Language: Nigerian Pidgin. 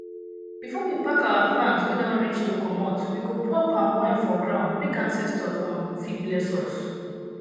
before we pack our plant wey don reach to comot we go pour palm wine for ground make ancestors um fit bless us